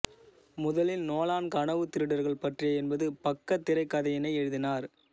முதலில் நோலன் கனவுத் திருடர்கள் பற்றிய என்பது பக்க திரைக்கதையினை எழுதினார்